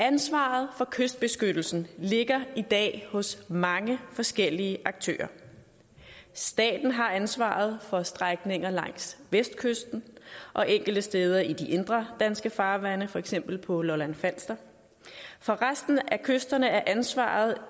ansvaret for kystbeskyttelsen ligger i dag hos mange forskellige aktører staten har ansvaret for strækninger langs vestkysten og enkelte steder i de indre danske farvande for eksempel på lolland falster for resten af kysterne er ansvaret